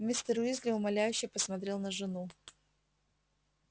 мистер уизли умоляюще посмотрел на жену